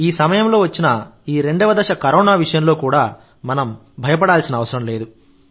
ఈ సమయంలో వచ్చిన ఈ రెండవ దశ కరోనా విషయంలో కూడా మనం భయపడాల్సిన అవసరం లేదు